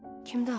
Kimdi axı?